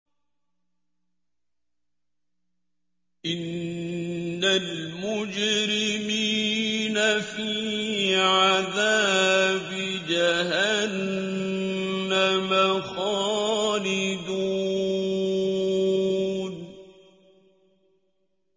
إِنَّ الْمُجْرِمِينَ فِي عَذَابِ جَهَنَّمَ خَالِدُونَ